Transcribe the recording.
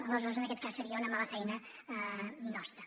aleshores en aquest cas seria una mala feina nostra